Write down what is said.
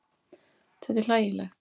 Þetta er hlægilegt.